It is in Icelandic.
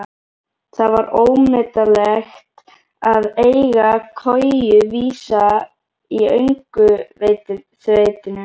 Það var ómetanlegt að eiga koju vísa í öngþveitinu.